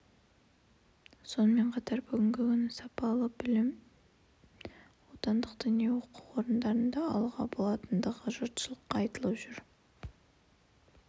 сонымен қатар бүгінгі күні сапалы діни білімді отандық діни оқу орындарында алуға болатындығы жұртшылыққа айтылып жүр